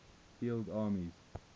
field armies